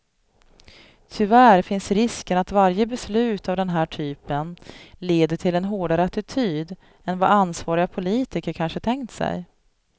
Tyvärr finns risken att varje beslut av den här typen leder till en hårdare attityd än vad ansvariga politiker kanske tänkt sig.